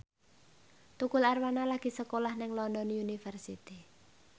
Tukul Arwana lagi sekolah nang London University